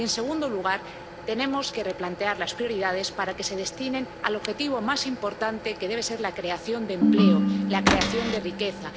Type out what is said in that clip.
Y, en segundo lugar, tenemos que replantear las prioridades para que se destinen al objetivo más importante, que debe ser la creación de empleo, la creación de riqueza.